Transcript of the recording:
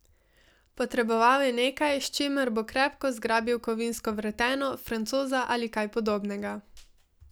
Potreboval je nekaj, s čimer bo krepko zgrabil kovinsko vreteno, francoza ali kaj podobnega.